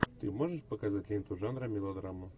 ты можешь показать ленту жанра мелодрама